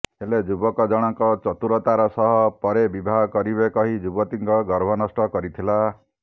ହେଲେ ଯୁବକ ଜଣଙ୍କ ଚତୁରତାର ସହ ପରେ ବିବାହ କରିବେ କହି ଯୁବତୀଙ୍କ ଗର୍ଭନଷ୍ଟ କରିଥିଲା